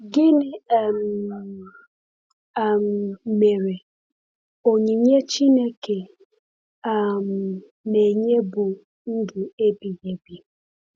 Gịnị um um mere, “onyinye Chineke um na-enye bụ ndụ ebighị ebi”?